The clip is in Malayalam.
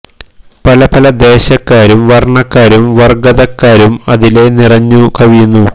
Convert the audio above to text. പല പല ദേശക്കാരും വര്ണ ക്കാരും വര്ഗതക്കാരും അതിലെ നിറഞ്ഞു കവിയുന്നു